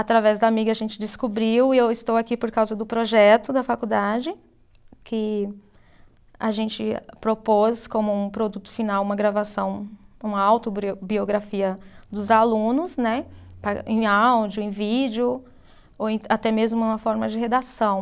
Através da amiga a gente descobriu, e eu estou aqui por causa do projeto da faculdade, que a gente propôs como um produto final uma gravação, uma autobrio, biografia dos alunos né, em áudio, em vídeo, ou em até mesmo na forma de redação.